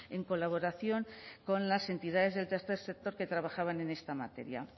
en colaboración con las entidades del tercer sector que trabajaban en esta materia